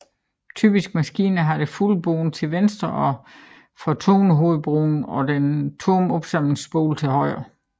Typiske maskiner har det fulde bånd til venstre for tonehovedbroen og den tomme opsamlingsspole til højre